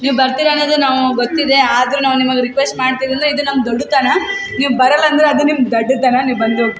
ನೀವ್ ಬರ್ತೀರ ಅನ್ನೋದೆ ನಮ್ಗ್ ಗೊತ್ತಿದೆ ಆದ್ರೂ ನಾವ್ ನಿಮಗ್ ರಿಕ್ವೆಸ್ಟ್ ಮಾಡ್ತಿದ್ವಿ ಅಂದ್ರೆ ಇದ್ ನಮ್ಮ್ ದೊಡ್ಡ್ ತನ ನೀವ್ ಬರಲ್ಲ ಅಂದ್ರೆ ಅದ್ ನಿಮ್ಮ್ ದಡ್ದ್ ತನ ನೀವ್ ಬಂದೊಗ್ .